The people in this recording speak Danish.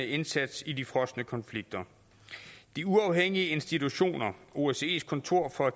indsats i de frosne konflikter de uafhængige institutioner osces kontor for